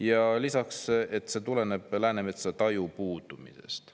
Ja lisaks: "See tuleb Läänemetsal taju puudumisest.